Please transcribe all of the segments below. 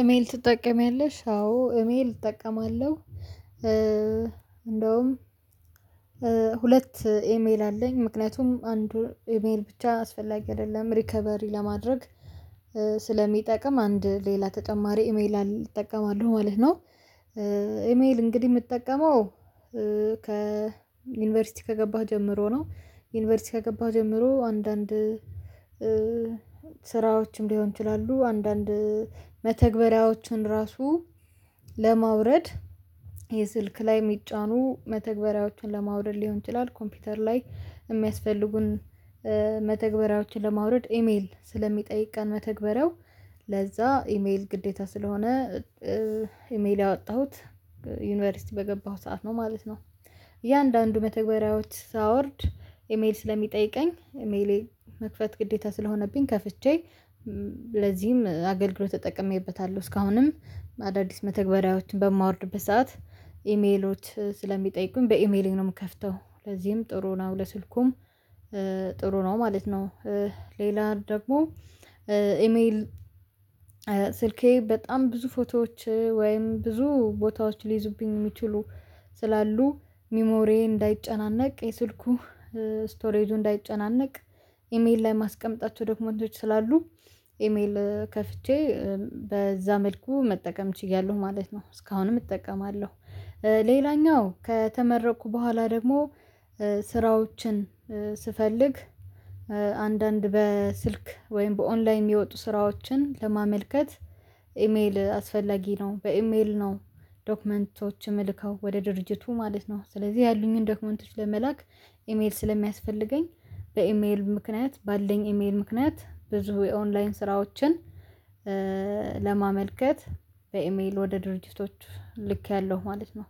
ኢሜል ትጠቀሚያለሽ አዎ ኢሜል እጠቀማለሁ። እንደውም ሁለት ኢሜል አለኝ ምክንያቱም አንዱን ኢሜል ብቻ አስፈላጊ አይደለም ሪከቨሪ ለማድረግ ስለሚጠቅም አንድ ሌላ ተጨማሪ ኢሜል እጠቀማሉ ማለት ነው። ኢሜል እንግዲህ የምትጠቀመው ከዩኒቨርሲቲ ከገባህ ጀምሮ ነው። ዩኒቨርሲቲ ከገባው ጀምሮ አንዳንድ ስራዎችም ሊሆን ይችላሉ። አንዳንድ መተግበሪያዎቹን ራሱ ለማውረድ የስልክ ላይ የሚጫኑ መተግበሪያዎችን ለማውረድ ሊሆን ይችላል። ኮምፒውተር ላይ የሚያስፈልጉን መተግባራዎችን ለማውረድ ኢሜል ስለሚጠይቀን መተግበሪያው ለዛ ኢሜል ግዴታ ስለሆነ። ኢሜል ያወጣሁት ዩኒቨርሲቲ በገባሁት ሰዓት ነው ማለት ነው። እያንዳንዱ መተግበሪያዎች ሳወርድ ኢሜል ስለሚጠይቀኝ ኢሜሌ መክፈት ግዴታ ስለሆነብኝ ከፍቼ ለዚህም አገልግሎት ተጠቅሜበታለሁ። እስካሁንም አዳዲስ መተግበሪያዎችን በማውርድበት ሰዓት ኢሜሎች ስለሚጠይቁኝ በኢሜሌ ነው የምከፍተው ለዚህም ጥሩ ነው። ለስልኩም ጥሩ ነው ማለት ነው። ሌላ ደግሞ ኢሜል ስልኬ በጣም ብዙ ፎቶዎች ወይም ብዙ ቦታዎች ሊይዙብኝ የሚችሉ ስላሉ ሚሞሬ እንዳይጨናነቅ የስልኩ ስቶሬጁ እንዳይጨናነቅ ኢሜል ላይ ማስቀመጣቸው ዶክመንቶች ስላሉ ኢሜል ከፍቼ በዛ መልኩ መጠቀም ችያለሁ ማለት ነው እስካሁንም እጠቀማለሁ። ሌላኛው ከተመረኩ በኋላ ደግሞ ስራዎችን ስፈልግ አንዳንድ በስልክ ወይም በኦንላይ የሚወጡ ስራዎችን ለማመልከት ኢሜል አስፈላጊ ነው በኢሜል ነው። ዶክመንቶችም መልከው ወደ ድርጅቱ ማለት ነው ስለዚህ ያሉኝን ዶክመንቶች ለመላክ ኢሜል ስለሚያስፈልገኝ በኢሜል ምክንያት ባለኝ ኢሜል ምክንያት ብዙ የኦንላይን ስራዎችን ለማመልከት በኢሜል ወደ ድርጅቶች ልኬያለሁ ማለት ነው።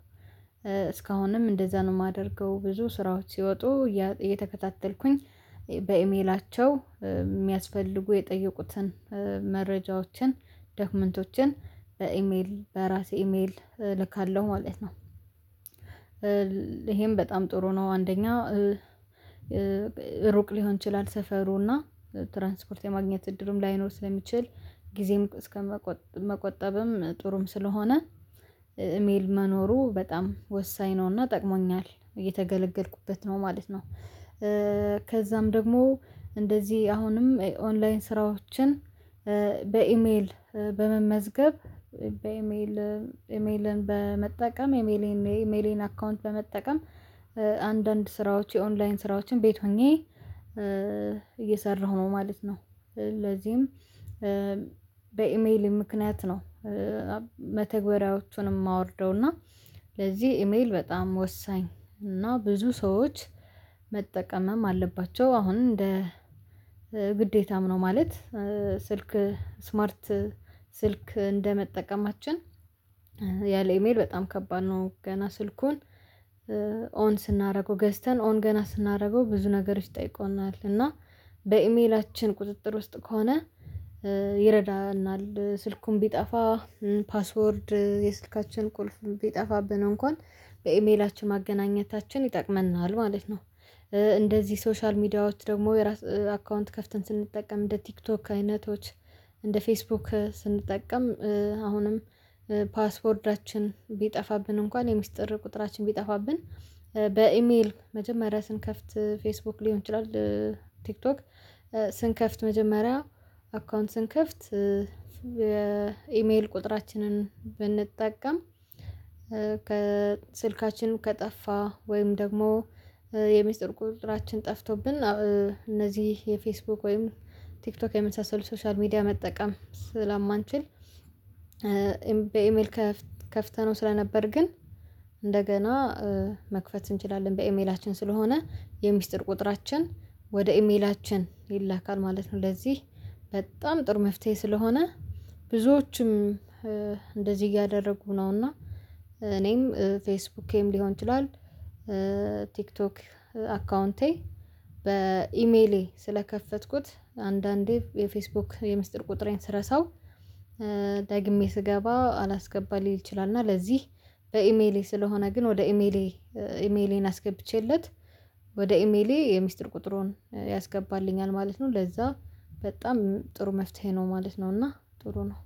እስካሁንም እንደዛ ነው የማደርገው ብዙ ስራዎች ሲወጡ እየተከታተልኩኝ በኢሜላቸው የሚያስፈልጉ የጠየቁትን መረጃዎችን ደክመንቶችን በኢሜል በራሴ ኢሜል ልካለሁ ማለት ነው። ይሄም በጣም ጥሩ ነው። አንደኛ ሩቅ ሊሆን ይችላል ሰፈሩና ትራንስፖርት የማግኘት እድልም ላይኖር ስለሚችል ጊዜም እስከመቆጠብም ጥሩም ስለሆነ ኢሜል መኖሩ በጣም ወሳኝ ነውና ጠቅሞኛል እየተገለገልኩበት ነው ማለት ነው። ከዛም ደግሞ እንደዚህ አሁንም ኦንላይን ስራዎችን በኢሜል በመመዝገብ በኢሜል ኢሜልን በመጠቀም የኢሜሌን ኢሜሌን አካውንት በመጠቀም አንዳንድ ስራዎች የኦንላይን ስራዎችን ቤት ሆኜ እየሰራሁ ነው ማለት ነው። ለዚህም በኢሜል ምክንያት ነው። መተግበሪያዎቹንም ማወርደው እና ለዚህ ኢሜል በጣም ወሳኝ እና ብዙ ሰዎች መጠቀምም አለባቸው አሁን እንደ ግዴታም ነው። ማለት ስልክ ስማርት ስልክ እንደመጠቀማችን ያለ ኢሜል በጣም ከባድ ነው። ገና ስልኩን ኦን ስናደርገው ገዝተን ኦን ገና ስናደርገው ብዙ ነገሮች ጠይቆናል እና በኢሜላችን ቁጥጥር ውስጥ ከሆነ ይረዳናል ስልኩን ቢጠፋ ፓስወርድ የስልካችን ቁልፍ ቢጠፋብን እንኳን በኢሜላችን ማገናኘታችን ይጠቅመናል ማለት ነው። እንደዚህ ሶሻል ሚዲያዎች ደግሞ የራስ አካውንት ከፍተን ስንጠቀም እንደ ቲክቶክ አይነቶች እንደ ፌስቡክ ስንጠቀም አሁንም ፓስዎርዳችን ቢጠፋብን እንኳን የሚስጥር ቁጥራችን ቢጠፋብን በኢሜል መጀመሪያ ስንከፍት ፌስቡክ ሊሆን ይችላል። ቲክቶክ ስንከፍት መጀመሪያ አካውንት ስንከፍት የኢሜል ቁጥራችንን ብንጠቀም ከስልካችን ከጠፋ ወይም ደግሞ የሚስጥር ቁጥራችን ጠፍቶብን እነዚህ የፌስቡክ ወይም ቲክቶክ የመሳሰሉ ሶሻል ሚዲያ መጠቀም ስላማንችል። በኢሜል ከፍተነው ስለነበር ግን እንደገና መክፈት እንችላለን በኢሜላችን ስለሆነ የሚስጥር ቁጥራችን ወደ ኢሜላችን ይላካል ማለት ነው። ለዚህ በጣም ጥሩ መፍትሄ ስለሆነ ብዙዎችም እንደዚህ እያደረጉ ነውና እኔም ፌስቡኬም ሊሆን ይችላል። ቲክቶክ አካውንቴ በኢሜሌ ስለከፈትኩት አንዳንዴ የፌስቡክ የምስጢር ቁጥሬን ስረሳው ደግሜ ስገባ አላስገባም ሊል ይችላል እና ለዚህ በኢሜሌ ስለሆነ ግን ወደ ኢሜሌ ኢሜሌን አስገብቼለት ወደ ኢሜሌ የምስጢር ቁጥሩን ያስገባልኛል ማለት ነው። ለዛ በጣም ጥሩ መፍትሄ ነው ማለት ነው። እና ጥሩ ነው